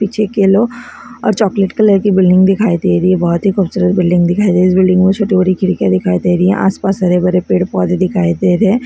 पीछे एक येल्लो और चॉकलेट कलर की बिल्डिंग दिखाई दे रही है बहोत ही खूबसूरत बिल्डिंग दिखाई दे रही इस बिल्डिंग मे छोटी बड़ी खिडकिया दिखाई दे रही है आसपास हरे भरे पेड़ पौंधे दिखाई दे रहे है।